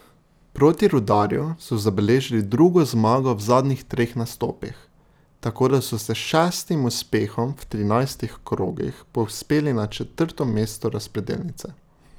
Proti Rudarju so zabeležili drugo zmago v zadnjih treh nastopih, tako da so se s šestim uspehom v trinajstih krogih povzpeli na četrto mesto razpredelnice.